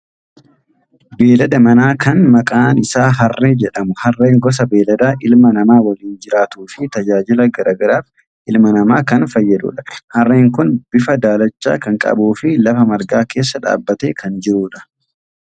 Beelada manaa kan maqaan isaa harree jedhamu. Harreen gosa beelladaa ilma namaa waliin jiraatuu fi tajaajila garaa garaaf ilma namaa kan fayyadudha. Harreen kun bifa daalacha kan qabuu fi lafa margaa keessa dhaabbatee kan jirudha.